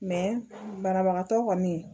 banabagatɔ kɔni